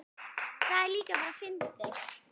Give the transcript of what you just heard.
Það er líka bara fyndið.